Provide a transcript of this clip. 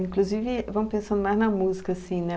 Inclusive, vamos pensando mais na música, assim, né?